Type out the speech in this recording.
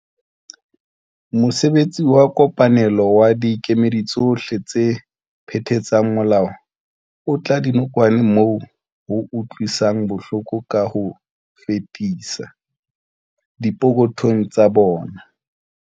Mosebetsi wa kopanelo wa dikemedi tsohle tse phethatsang molao o otla dinokwane moo ho utlwisang bohloko ka ho fetisisa, dipokothong tsa bona.